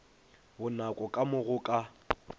bonako ka mo go ka